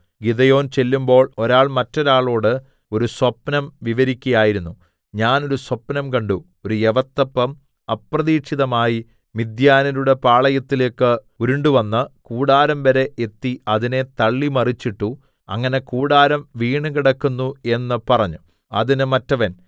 Gideon ചെല്ലുമ്പോൾ ഒരാൾ മറ്റൊരാളോട് ഒരു സ്വപ്നം വിവരിക്കയായിരുന്നു ഞാൻ ഒരു സ്വപ്നം കണ്ടു ഒരു യവത്തപ്പം അപ്രതീക്ഷിതമായി മിദ്യാന്യരുടെ പാളയത്തിലേക്ക് ഉരുണ്ടു വന്ന് കൂടാരംവരെ എത്തി അതിനെ തള്ളി മറിച്ചിട്ടു അങ്ങനെ കൂടാരം വീണുകിടന്നു എന്ന് പറഞ്ഞു അതിന് മറ്റവൻ